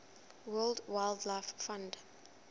world wildlife fund